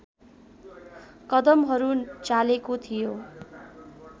कदमहरू चालेको थियो